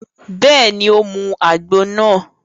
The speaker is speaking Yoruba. Bẹ́ẹ̀ni, ó mu àgbo náà